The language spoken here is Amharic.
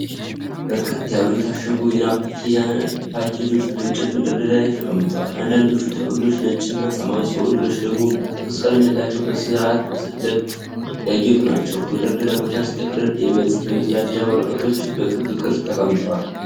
በርከት ያሉ የታሸጉ የናፕኪን ፓኬጆች በእንጨት መደርደሪያ ላይ ተቀምጠዋል። አንዳንዶቹ ጥቅሎች ነጭ እና ሰማያዊ ሲሆኑ፣ ሌሎች ደግሞ ሮዝ ቀለም ያላቸው በስርዓተ-ጥለት ያጌጡ ናቸው። ከመደርደሪያው በታች ጥቅልል የመጸዳጃ ወረቀቶች በክብ ቅርጽ ተቀምጠዋል።